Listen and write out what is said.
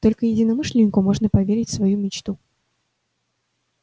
только единомышленнику можно поверить свою мечту